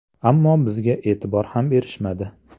Ammo bizga e’tibor ham berishmadi.